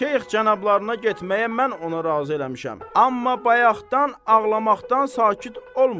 Şeyx cənablarına getməyə mən onu razı eləmişəm, amma bayaqdan ağlamaqdan sakit olmur.